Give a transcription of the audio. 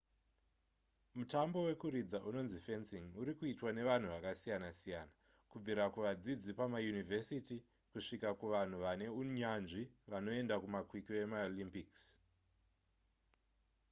mutambo wekuridza unonzi fencing uri kuitwa nevanhu vakasiyana-siyana kubvira kuvadzidzi vepamayunivhesiti kusvikira kuvanhu vane unyanzvi vanoenda kumakwikwi emaolympics